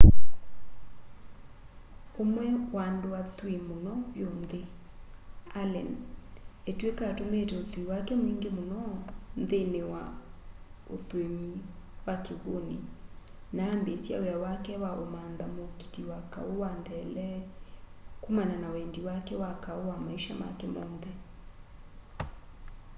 ũmwe wa andũ athui mũno vyũ nthĩ allen etw'ĩka atũmĩĩte ũthui wake mwingĩ mũno nthĩnĩ wa ũthũĩmi wa kĩw'ũnĩ na ambĩĩsya wĩa wake wa ũmantha mũũkiti wa kaũ wa ntheele kumana na wendi wa kaũ wa maisha make monthe